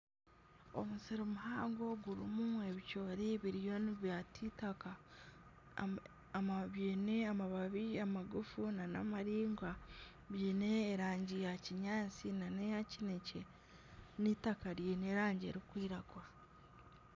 Omusiri muhango gurimu ebicoori biriyo nibyaata itaka byine amababi amagufu nana amaraingwa. Byine erangi ya kinyaatsi nana eya kinekye n'itaka ryine erangi erikwiragura.